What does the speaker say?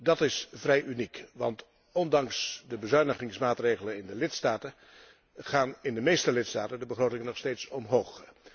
Dat is vrij uniek, want ondanks de bezuinigingsmaatregelen in de lidstaten gaan in de meeste lidstaten de begrotingen nog steeds omhoog.